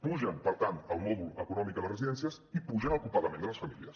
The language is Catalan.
apugen per tant el mòdul econòmic a les residències i apugen el copagament de les famílies